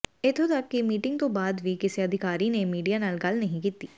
ਇੱਥੋਂ ਤਕ ਕਿ ਮੀਟਿੰਗ ਤੋਂ ਬਾਅਦ ਵੀ ਕਿਸੇ ਅਧਿਕਾਰੀ ਨੇ ਮੀਡੀਆ ਨਾਲ ਗੱਲ ਨਹੀਂ ਕੀਤੀ